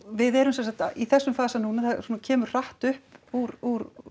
við erum sem sagt í þessum fasa núna það kemur hratt upp úr úr